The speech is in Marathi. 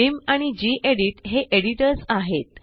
व्हिम आणि गेडीत हे एडिटर्स आहेत